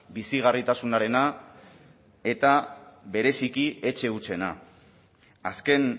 bizigarritasunarena eta bereziki etxe hutsena azken